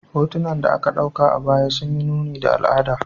Hotunan da aka dauka a baya sun yi nuni da al'adu.